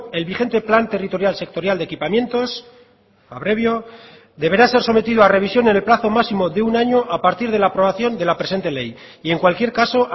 el vigente plan territorial sectorial de equipamientos abrevio deberá ser sometido a revisión en el plazo máximo de un año a partir de la aprobación de la presente ley y en cualquier caso